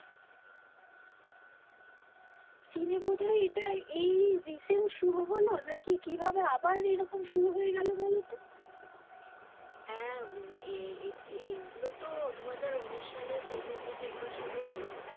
চীনে বোধয় এটা এই recent শুরু হলো নাকি কিভাবে আবার এরকম শুরু হয়ে গেলো বলতো? হ্যাঁ এই এইগুলো তো দুহাজার উনিশ সালে শেষের দিকে একবার শুরু হলো